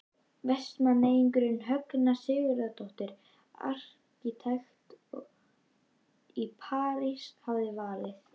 Vestmanneyingurinn Högna Sigurðardóttir arkitekt í París hafði valið.